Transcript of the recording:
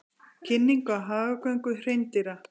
Kynning á hagagöngu hreindýra